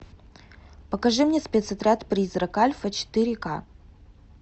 покажи мне спецотряд призрак альфа четыре ка